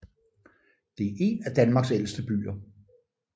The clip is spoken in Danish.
Det er en af Danmarks ældste byer